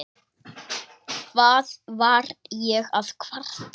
Hvað var ég að kvarta?